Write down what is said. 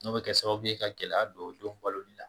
N'o bɛ kɛ sababu ye ka gɛlɛya don o den baloli la